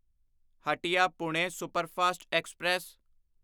Hatia Pune superfast express